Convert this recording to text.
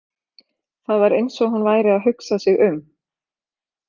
Það var eins og hún væri að hugsa sig um.